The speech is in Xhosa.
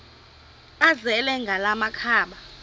azele ngala makhaba